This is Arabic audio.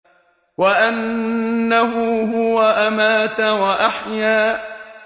وَأَنَّهُ هُوَ أَمَاتَ وَأَحْيَا